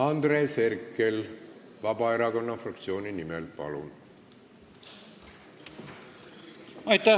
Andres Herkel Vabaerakonna fraktsiooni nimel, palun!